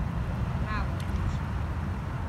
Bravo, Urša.